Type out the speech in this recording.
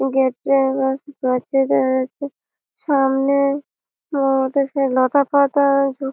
gate - এ সামনে লতাপাতা-আ যু--